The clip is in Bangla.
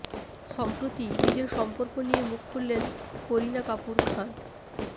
সম্প্রতি নিজের সম্পর্ক নিয়ে মুখ খুললেন করিনা কাপুর খান